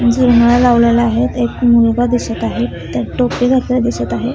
लावलेला आहे. इथे एक मुलगा दिसत आहे. त्या टोपी घातलेला दिसत आहे.